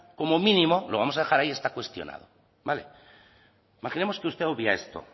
como mínimo lo vamos a dejar cuestionado imaginemos que usted obvia esto